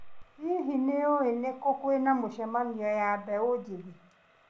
Hihi, nĩ ũĩ nĩ kũ kwĩna mĩcemanio ya mbeũ njĩthĩ?